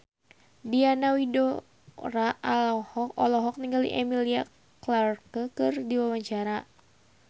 Diana Widoera olohok ningali Emilia Clarke keur diwawancara